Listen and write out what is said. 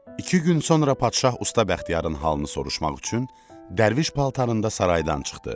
İki gün sonra padşah usta Bəxtiyarın halını soruşmaq üçün dərviş paltarında saraydan çıxdı.